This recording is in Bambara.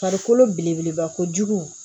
Farikolo belebeleba kojugu